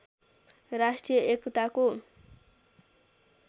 राष्ट्रिय एकताको